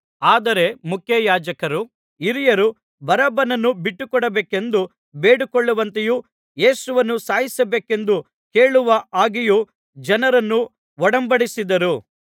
ಆದರೆ ಮುಖ್ಯಯಾಜಕರೂ ಹಿರಿಯರೂ ಬರಬ್ಬನನ್ನು ಬಿಟ್ಟುಕೊಡಬೇಕೆಂದು ಬೇಡಿಕೊಳ್ಳುವಂತೆಯೂ ಯೇಸುವನ್ನು ಸಾಯಿಸಬೇಕೆಂದು ಕೇಳುವ ಹಾಗೆಯೂ ಜನರನ್ನು ಒಡಂಬಡಿಸಿದ್ದರು